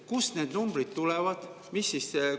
Kust need numbrid tulevad?